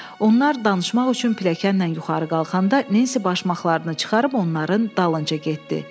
Onlar danışmaq üçün pilləkənlə yuxarı qalxanda Nensi başmaqlarını çıxarıb onların dalınca getdi.